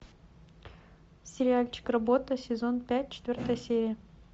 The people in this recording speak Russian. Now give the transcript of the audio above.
сериальчик работа сезон пять четвертая серия